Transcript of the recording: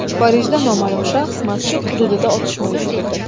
Parijda noma’lum shaxs masjid hududida otishma uyushtirdi.